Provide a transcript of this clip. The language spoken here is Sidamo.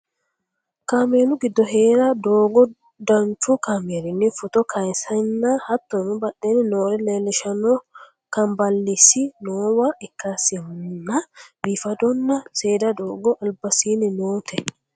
kameelu giddo heere doogo danchu kameerinni footo kayeesanna hattono badheenni noore leellishanno kanballeessi noowa ikkasinna biifadonna seeda doogo albasiinni noote